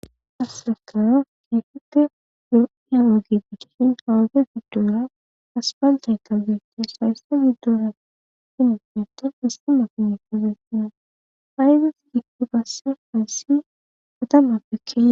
Asrakawa efite lo'yalogi gidihin hawabe biddoora aspaltay ta beetti shaysse biddora finefneta istima punyefozesina ayges gigturasse hayssi otammappekke.